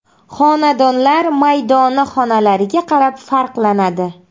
Xonadonlar maydoni xonalariga qarab farqlanadi.